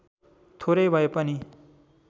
थोरै भए पनि